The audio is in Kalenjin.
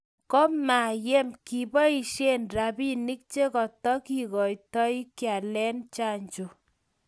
ko mayem kiboisien robinik che katikiotoi kealen chanjo.